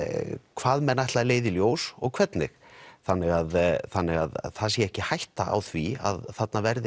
hvað menn ætla að leiða í ljós og hvernig þannig að þannig að það sé ekki hætta á því að þarna verði